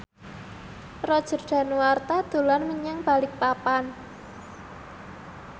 Roger Danuarta dolan menyang Balikpapan